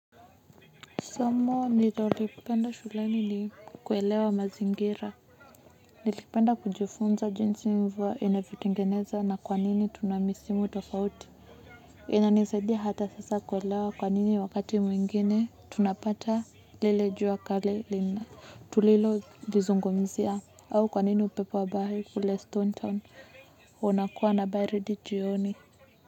Somo nita ulipenda shulani ni kuelewa mazingira. Nilipenda kujifunza jinsi mvua inavyotengeneza na kwa nini tunamisimu tofauti. Inanisaidia hata sasa kuelewa kwanini wakati mwingine tunapata lile jua kali lina tulilo lizungumzia. Au kwa nini upepo wa bahari kule stone town unakuwa na baridi jioni.